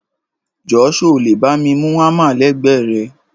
Jọ sọ lẹ bàmí mú àmá lẹgbe rẹ?